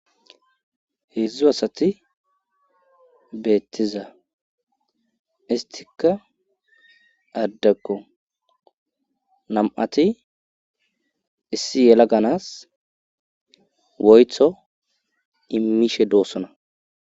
Heedzdzu asati beettiza istikka addakko nam'ati issi yela ganas woytho immishe doossona.